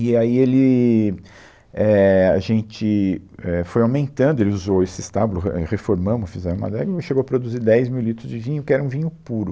E aí ele, éh, a gente, éh, foi aumentando, ele usou esse estábulo, re, reformamos, fizemos a adega, chegou a produzir dez mil litros de vinho, que era um vinho puro.